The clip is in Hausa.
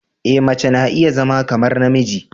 E mace na iya zama kamar namiji.